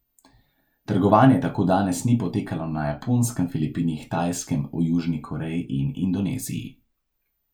Trgovanje tako danes ni potekalo na Japonskem, Filipinih, Tajskem, v Južni Koreji in Indoneziji.